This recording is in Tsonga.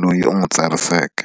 loyi u n'wi tsariseke.